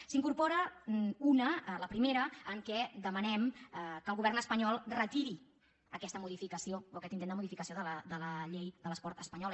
se n’hi incorpora una la primera en què demanem que el govern espanyol retiri aquesta modificació o aquest intent de modificació de la llei de l’esport espa·nyola